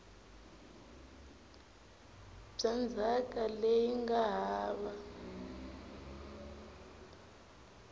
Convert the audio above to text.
bya ndzhaka leyi nga hava